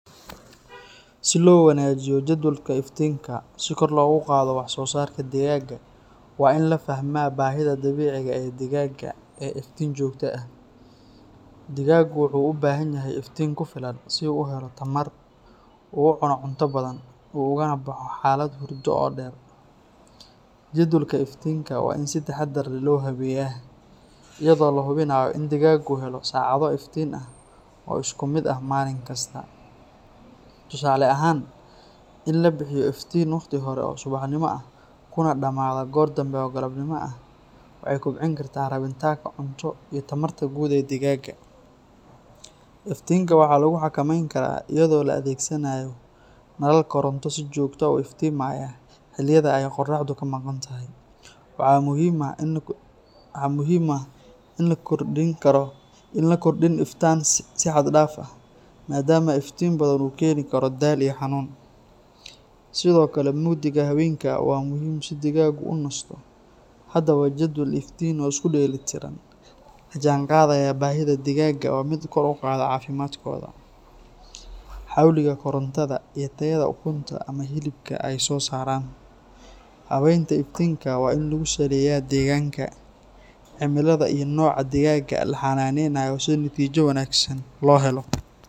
Si loo wanaajiyo jadwalka iftiinka si kor loogu qaado wax soo saarka digaagga, waa in la fahmaa baahida dabiiciga ah ee digaagga ee iftiin joogto ah. Digaaggu wuxuu u baahan yahay iftiin ku filan si uu u helo tamar, u cuno cunto badan, ugana baxo xaalad hurdo oo dheer. Jadwalka iftiinka waa in si taxaddar leh loo habeeyaa, iyadoo la hubinayo in digaaggu helo saacado iftiin ah oo isku mid ah maalin kasta. Tusaale ahaan, in la bixiyo iftiin waqti hore oo subaxnimo ah kuna dhammaada goor dambe oo galabnimo ah waxay kobcin kartaa rabitaanka cunto iyo tamarta guud ee digaagga. Iftiinka waxaa lagu xakameyn karaa iyadoo la adeegsanayo nalal koronto si joogto ah u iftiimiya xilliyada ay qorraxdu ka maqantahay. Waxaa muhiim ah in aan la kordhin iftiinka si xad dhaaf ah, maadaama iftiin badan uu keeni karo daal iyo xanuun. Sidoo kale, mugdiga habeenkii waa muhiim si digaaggu u nasto. Haddaba, jadwal iftiin oo isku dheelitiran, la jaanqaadaya baahida digaagga, waa mid kor u qaada caafimaadkooda, xawliga koritaankooda, iyo tayada ukunta ama hilibka ay soo saaraan. Habaynta iftiinka waa in lagu saleeyaa deegaanka, cimilada, iyo nooca digaagga la xannaaneynayo si natiijo wanaagsan loo helo.